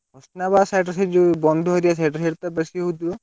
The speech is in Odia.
କୃଷ୍ଣାବାଗ୍ side ସବୁ ଯୋଉ ବଣ୍ଡୁ area side ରେ ସବୁ ବେଶୀ ହଉଥିବ।